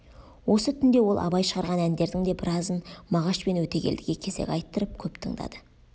осы түнде ол абай шығарған әндердің де біразын мағаш пен өтегелдіге кезек айттырып көп тыңдады